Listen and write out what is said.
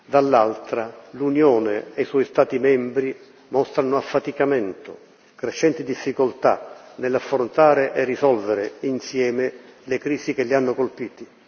dall'altra, l'Unione e i suoi Stati membri mostrano affaticamento, crescenti difficoltà nell'affrontare e risolvere, insieme, le crisi che li hanno colpiti.